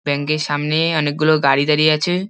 Bank এর সামনে অনেক গুলো গাড়ি দাড়িয়ে আছে।